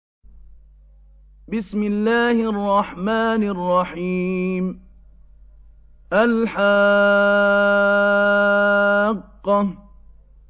الْحَاقَّةُ